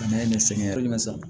N'a ye nin sɛgɛn